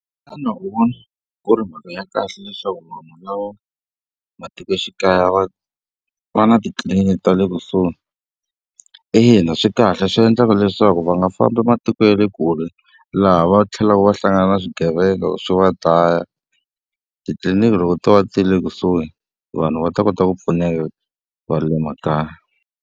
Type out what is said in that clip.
Xana u vona ku ri mhaka ya kahle leswaku vanhu lava matikoxikaya va va na titliliniki ta le kusuhi? Ina swi kahle swi endlaka leswaku va nga fa famba matiko ya le kule laha va tlhelaka va hlangana na swigevenga swi va dlaya. Titliliniki loko to va ti ri ekusuhi vanhu va ta kota ku pfuneka va le makaya.